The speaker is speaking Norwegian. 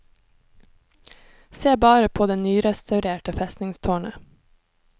Se bare på det nyrestaurerte festningstårnet.